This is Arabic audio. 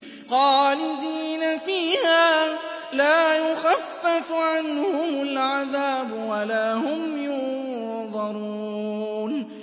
خَالِدِينَ فِيهَا لَا يُخَفَّفُ عَنْهُمُ الْعَذَابُ وَلَا هُمْ يُنظَرُونَ